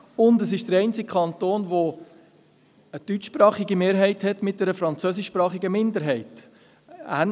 Zudem ist er der einzige Kanton, welcher eine deutschsprachige Mehrheit und eine französischsprachige Minderheit hat.